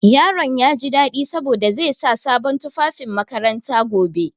Yaron na jin daɗi saboda zai sa sabon tufafin makaranta gobe.